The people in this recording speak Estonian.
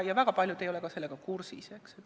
Väga paljud ei ole ka sellega kursis.